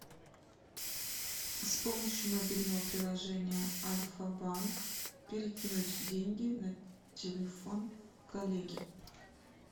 с помощью мобильного приложения альфа банк перекинуть деньги на телефон коллеге